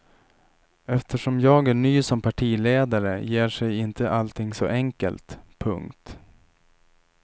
Eftersom jag är ny som partiledare ger sig inte allting så enkelt. punkt